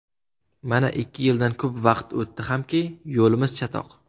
Mana ikki yildan ko‘p vaqt o‘tdi hamki, yo‘limiz chatoq.